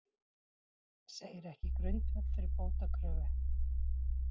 Segir ekki grundvöll fyrir bótakröfu